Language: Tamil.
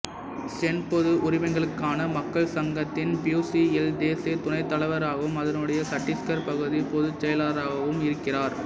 சென் பொது உரிமைகளுக்கான மக்கள் சங்கத்தின் பியுசிஎல் தேசிய துணைத்தலைவராகவும் அதனுடைய சட்டீஸ்கர் பகுதி பொதுச்செயலாளராகவும் இருக்கிறார்